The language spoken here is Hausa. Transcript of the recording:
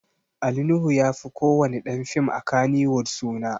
Ali Nuhu ya fi ko wani ɗan fim a Kannywood suna